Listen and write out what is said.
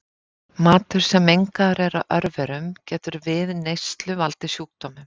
matur sem mengaður er af örverum getur við neyslu valdið sjúkdómum